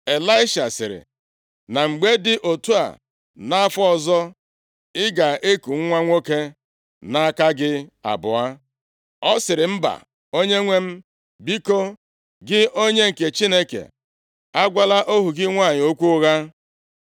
Ịlaisha sịrị, “Na mgbe dị otu a nʼafọ ọzọ, ị ga-eku nwa nwoke nʼaka gị abụọ.” Ọ sịrị, “Mba, onyenwe m, biko, gị onye nke Chineke, agwala ohu gị nwanyị okwu ụgha.”